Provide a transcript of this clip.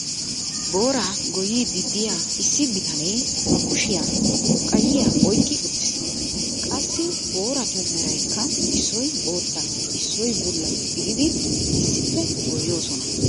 booraa goyiidi diya issi bitane ba kushiyan xurqqayiya oyqqi uttiis. qassi booratu meraykka issoy bootta issoy bulla gididi issippe goyoosona.